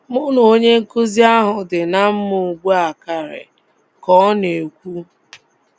Mụ na onye nkụzi ahụ dị ná mma ugbu a karị, ” ka ọ na - ekwu".